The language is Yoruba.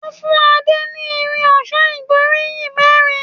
Wón fún Ade ní Irin ọ̀ṣọ́ ìgbóríyìn mérin.